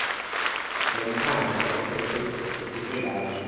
lomkhandlu ophethe esifundazweni